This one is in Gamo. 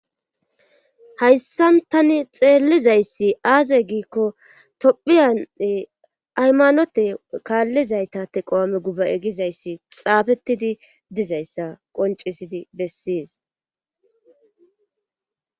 Hayssan tani xeellizayssi aaze giikko tophiyan aymanote kaallizayta teqo7ame guba egizayssi xaafetidi dizayssa qoncisidi bessies.